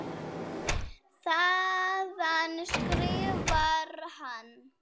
Þaðan skrifar hann